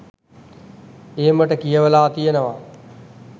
එමට කියවලා තියෙනවා.